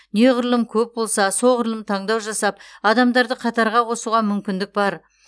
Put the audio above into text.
неғұрлым көп болса соғұрлым таңдау жасап адамдарды қатарға қосуға мүмкіндік бар